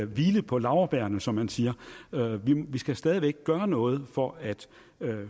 hvile på laurbærrene som man siger vi skal stadig væk gøre noget for at